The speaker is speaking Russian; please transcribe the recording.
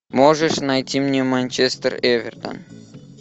можешь найти мне манчестер эвертон